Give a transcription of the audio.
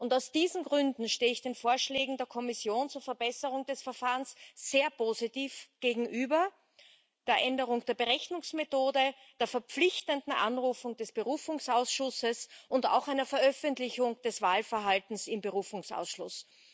Aus diesen Gründen stehe ich den Vorschlägen der Kommission zur Verbesserung des Verfahrens sehr positiv gegenüber der Änderung der Berechnungsmethode, der verpflichtenden Anrufung des Berufungsausschusses und auch einer Veröffentlichung des Wahlverhaltens im Berufungsausschuss.